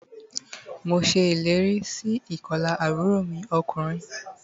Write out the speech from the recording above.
Mo se eléèrí sí ìkolà àbúrò mi okùnrin